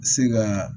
Se ka